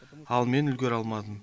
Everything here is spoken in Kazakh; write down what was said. ал мен үлгере алмадым